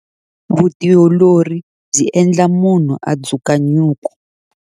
Vutiolori byi endla munhu a dzuka nyuku.